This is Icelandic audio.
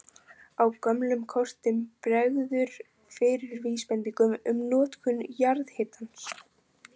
Á gömlum kortum bregður fyrir vísbendingum um notkun jarðhitans.